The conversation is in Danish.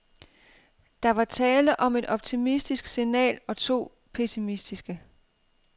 Der var tale om et optimistisk signal og to pessimistiske.